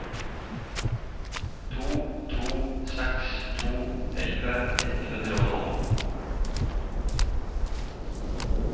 to to seks to elleve ett hundre og tolv